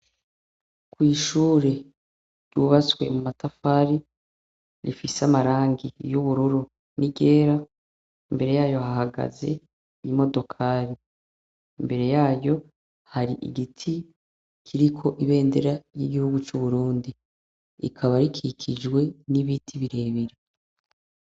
Kw'ishure ry'ubatswe mu matafari, rifise amarangi y'ubururu ni ryera, imbere yayo hahagaze imodokari, imbere yayo hari igiti kiriko ibendera ry'igihugu c'uburundi rikaba rikikijwe n'ibiti birebire.